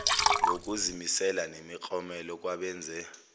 ngokuzimisela nemiklomelo kwabenze